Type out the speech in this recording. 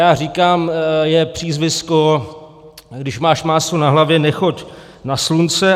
Já říkám, je přízvisko, když máš máslo na hlavě, nechoď na slunce.